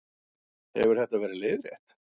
Hefur þetta verið leiðrétt